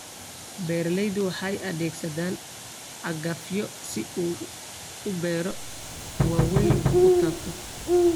Beeraleydu waxay adeegsadaan cagafyo si uu beero waaweyn u taabto.